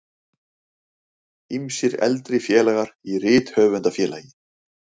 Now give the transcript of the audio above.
Ýmsir eldri félagar í Rithöfundafélagi